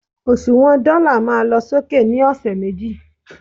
òṣùwàn dọ́là ma lọ sókè ni ọsẹ̀ méjì